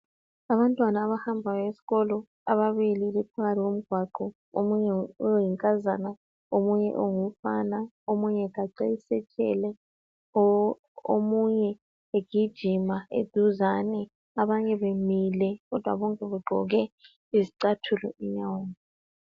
abantwana abahambayo esikolo ababili bephakathi komgwaqo omunye oyinkazana omunye ungumfana omunye ugaxe i satchel omunye egijima duzane abanye bemile kodwa bonke begqoke izicathulo enyaweni